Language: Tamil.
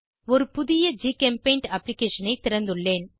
ஒரு புதிய ஜிகெம்பெய்ண்ட் அப்ளிகேஷனை திறந்துள்ளேன்